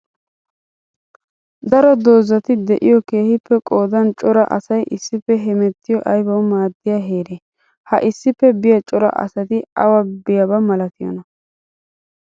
Daro doozzatti de'iyo keehippe qoodan cora asay issippe hemettiyo aybbawu maadiya heere? Ha issippe biya cora asatti awa biyaaba malttiyoona?